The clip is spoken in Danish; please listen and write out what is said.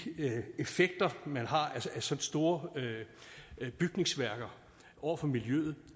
effekter man har af så store bygningsværker over for miljøet